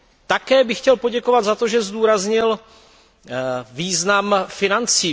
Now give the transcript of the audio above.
Také bych chtěl poděkovat za to, že zdůraznil význam financí.